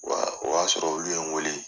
O y'a o y'a sɔrɔ olu ye n wele.